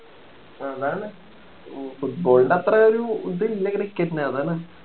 അതാണ്‌ football ൻ്റെ അത്ര ഒരു ഇത് ഇല്ല cricket ന് അതാണ്